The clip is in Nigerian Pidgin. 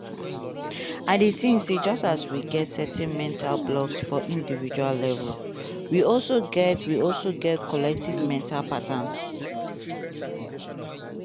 i dey think say just as we get certain mental blocks for individual level we also get also get collective mental patterns.